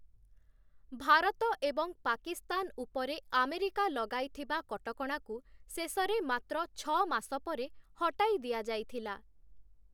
ଭାରତ ଏବଂ ପାକିସ୍ତାନ ଉପରେ ଆମେରିକା ଲଗାଇଥିବା କଟକଣାକୁ ଶେଷରେ ମାତ୍ର ଛଅ ମାସ ପରେ ହଟାଇ ଦିଆଯାଇଥିଲା ।